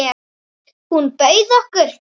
Hún bauð okkur.